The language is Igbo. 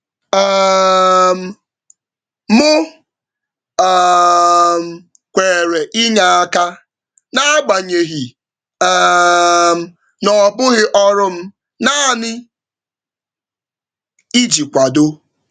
um M um kwere inye aka, n’agbanyeghị um na ọ bụghị ọrụ m, naanị iji kwado.